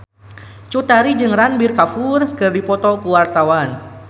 Cut Tari jeung Ranbir Kapoor keur dipoto ku wartawan